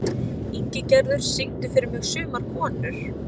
Ingigerður, syngdu fyrir mig „Sumar konur“.